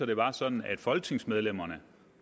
det var sådan at folketingsmedlemmerne